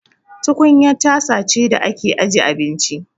Tukunya tasa ce da ake aje abinci.